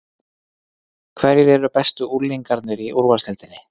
Hverjir eru bestu unglingarnir í úrvalsdeildinni?